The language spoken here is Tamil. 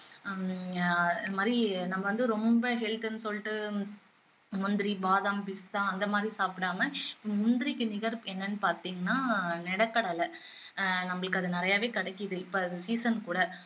ஹம் ஆஹ் அது மாதிரி நம்ம வந்து ரொம்ப health ன்னு சொல்லிட்டு முந்திரி, பாதம், பிஸ்தா அந்த மாதிரி சாப்பிடாம முந்திரிக்கு நிகர் என்னன்னு பாத்திங்கண்ணா நிலக்கடலை ஆஹ் நம்மளுக்கு அது நிறையவே கிடைக்குது இப்போ அது season உம் கூட